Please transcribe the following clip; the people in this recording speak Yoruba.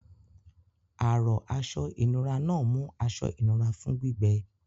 Àrọ̀ Aṣọ ìnura náà mú aṣọ ìnura fún gbígbẹ.